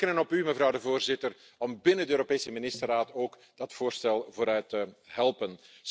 Wij rekenen op u, mevrouw de Voorzitter, om binnen de Europese ministerraad ook dat voorstel vooruit te helpen.